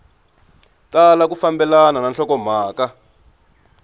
tala ku fambelana na nhlokomhaka